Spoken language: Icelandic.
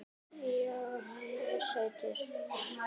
Já, hann er sætur.